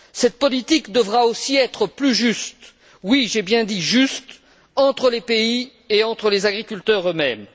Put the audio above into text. Cette politique devra aussi être plus juste oui, j'ai bien dit juste entre les pays et entre les agriculteurs eux mêmes.